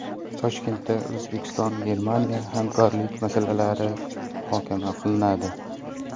Toshkentda O‘zbekistonGermaniya hamkorlik masalalari muhokama qilinadi.